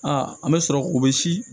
Aa an bɛ sɔrɔ k'o bɛ si